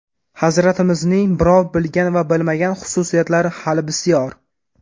Hazratimizning birov bilgan va bilmagan xususiyatlari hali bisyor.